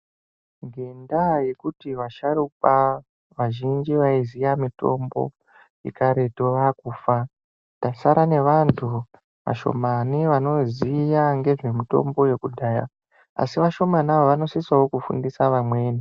Ngendaa yekuti vasharuka vazhinji vaiziya mitombo yekaretu vakufa tasara nevantu vashomani vanoziya ngezvemutombo yekudhaya asi vashomani ava vanosisawo kufundisa vamweni.